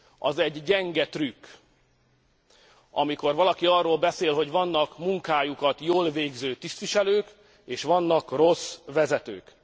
Az gyenge trükk, amikor valaki arról beszél, hogy vannak munkájukat jól végző tisztviselők és vannak rossz vezetők.